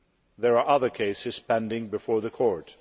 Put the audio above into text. There are other cases pending before the Court.